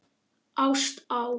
Ást á